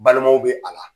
Balimaw be a la